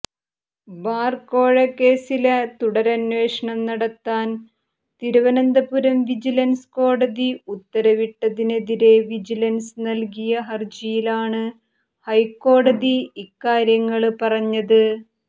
bar കോഴക്കേസില് തുടരന്വേഷണം നടത്താന് തിരുവനന്തപുരം വിജിലന്സ് കോടതി ഉത്തരവിട്ടതിനെതിരെ വിജിലന്സ് നല്കിയ ഹര്ജിയിലാണ് ഹൈക്കോടതി ഇക്കാര്യങ്ങള് പറഞ്ഞത്